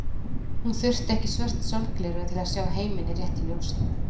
Hún þurfti ekki svört sólgleraugu til að sjá heiminn í réttu ljósi.